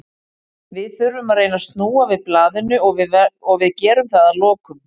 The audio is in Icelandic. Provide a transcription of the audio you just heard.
Við þurfum að reyna að snúa við blaðinu og við gerum það að lokum.